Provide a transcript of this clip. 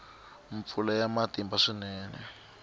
mpfula ya matimba swinene